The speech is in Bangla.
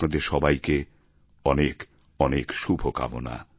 আপনাদের সবাইকে অনেক অনেক শুভকামনা